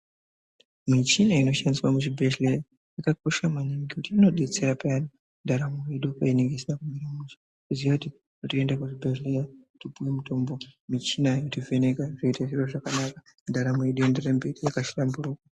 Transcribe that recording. Michina inoshandiswa muzvibhedhlera yakakosha maningi ngekuti inobetsera paya ndaramo yedu painenge isina kumira zvakanaka kuziya kuti toenda kuzvibhedhlera topiwa mitombo michina yotivheneka ndaramo yedu ienderere mberi yakahlamburuka .